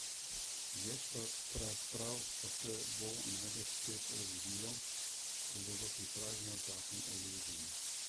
Več razprav pa se bo najbrž spet razvilo, ko bo v pripravi nov zakon o družini.